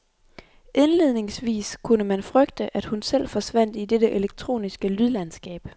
Indledningsvist kunne man frygte, at hun selv forsvandt i dette elektroniske lydlandskab.